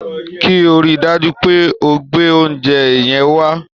Kí o rí i dájú pé o gbé oúnjẹ yẹn wá